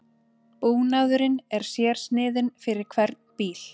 Búnaðurinn er sérsniðinn fyrir hvern bíl